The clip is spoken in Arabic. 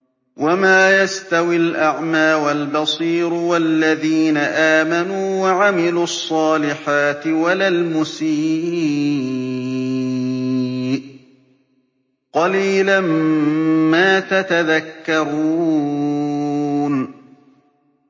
وَمَا يَسْتَوِي الْأَعْمَىٰ وَالْبَصِيرُ وَالَّذِينَ آمَنُوا وَعَمِلُوا الصَّالِحَاتِ وَلَا الْمُسِيءُ ۚ قَلِيلًا مَّا تَتَذَكَّرُونَ